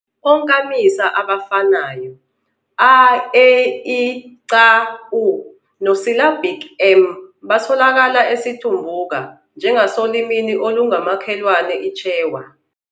Onkamisa abafanayo, a, e, i, c, u, no syllabic, m, batholakala esiTumbuka njengasolimini olungumakhelwane iChewa.